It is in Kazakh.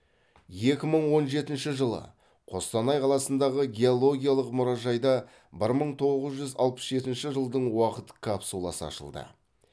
екі мың он жетінші жылы қостанай қаласындағы геологиялық мұражайда бір мың тоғыз жүз алпыс жетінші жылдың уақыт капсуласы ашылды